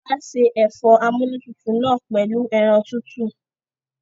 Wàá ṣe ẹ̀fọ́ amúnútutù náà pẹ̀lú ẹran tútù